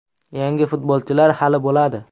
Yangi futbolchilar hali bo‘ladi.